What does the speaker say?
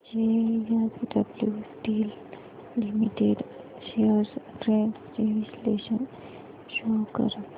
JSW steel limited shares trends चे विश्लेषण show कर